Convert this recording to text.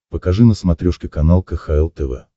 покажи на смотрешке канал кхл тв